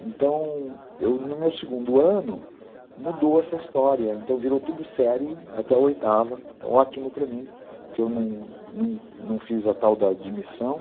Então, no meu segundo ano, mudou essa história, então virou tudo série até oitava, ótimo para mim, que eu não não não fiz a tal da admissão.